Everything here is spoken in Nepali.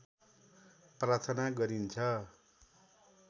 प्रार्थना गरिन्छ